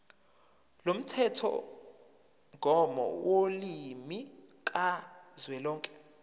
lomthethomgomo wolimi kazwelonke